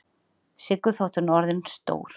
Siggu þótt hún sé orðin stór.